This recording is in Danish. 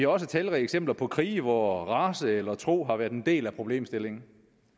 også talrige eksempler på krige hvor race eller tro har været en del af problemstillingen